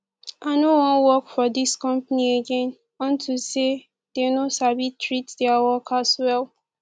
i no wan work for dis company again unto say dey no sabi treat their workers well